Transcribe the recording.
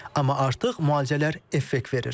Amma artıq müalicələr effekt verir.